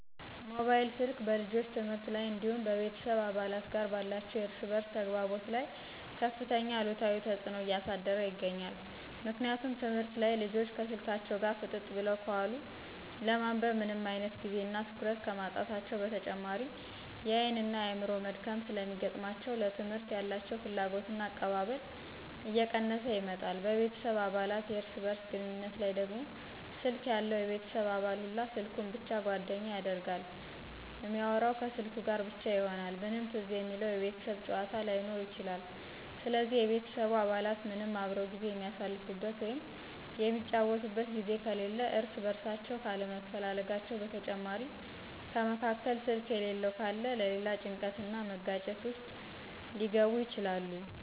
ሞባይል ስልክ በልጆች ትምህርት ላይ እንዲሁም በቤተሰብ አባላት ጋር ባላቸው የእርስ በእርስ ተግባቦት ላይ ከፍተኛ አሉታዊ ተጽዕኖ እያሳደረ ይገኛል። ምክንያቱም ትምህርት ላይ ልጆች ከስልካቸው ጋር ፍጥጥ ብለው ከዋሉ ለማንበብ ምንም አይነት ጊዜ እና ትኩረት ከማጣታቸው በተጨማሪ የአይን እና የአዕምሮ መድከም ስለሚገጥማቸው ለትምህርት ያላቸው ፍላጎትና አቀባበል እየቀነሰ ይመጣል፤ በቤተሰብ አባላት የእርስ በእርስ ግንኙነት ላይ ደግሞ ስልክ ያለው የቤተሰብ አባል ሁላ ስልኩን ብቻ ጓደኛ ያደርጋል እሚአወራው ከስልኩ ጋር ብቻ ይሆናል ምንም ትዝ የሚለው የቤተሰብ ጫዎታ ላይኖር ይችላል ስለዚህ የቤተሰቡ አባላት ምንም አብረው ጊዜ የሚአሳልፉበት ወይም የሚጫወቱበት ጊዜ ከሌለ እርስ በእርሳቸው ካለመፈላለጋቸው በተጨማሪ ከመካከል ስልክ የሌለው ካለ ለሌላ ጭንቀት እና መጋጨት ውስጥ ሊገቡ ይችላሉ።